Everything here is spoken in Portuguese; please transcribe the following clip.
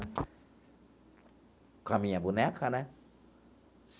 Com a minha boneca, né?